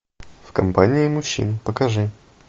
в компании мужчин покажи